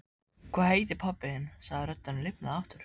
Hvað heitir pabbi þinn? sagði röddin og lifnaði aftur.